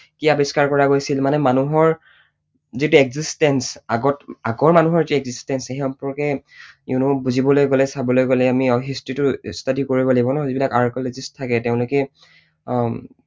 কি আৱিষ্কাৰ কৰা গৈছিল, মানে মানুহৰ যিটো existence আগত আগৰ মানুহৰ যি existence সেই সম্পৰ্কে you know বুজিবলৈ গলে, চাবলৈ গলে আমি history টো study কৰিব লাগিব ন, যিবিলাক archeologist থাকে তেওঁলোকে উম